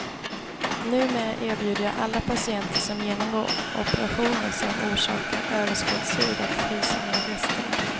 Numera erbjuder jag alla patienter som genomgår operationer som orsakar överskottshud att frysa ner resterna.